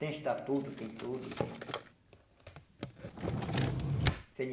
Tem estatuto, tem tudo, tem... Cê ene